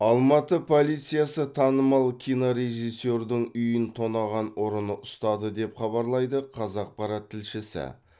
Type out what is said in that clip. алматы полициясы танымал кинорежиссердің үйін тонаған ұрыны ұстады деп хабарлайды қазақпарат тілшісі